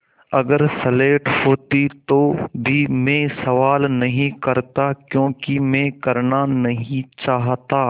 अगर स्लेट होती तो भी मैं सवाल नहीं करता क्योंकि मैं करना नहीं चाहता